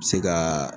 Se ka